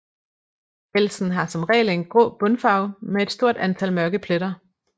Pelsen har som regel en grå bundfarve med et stort antal mørke pletter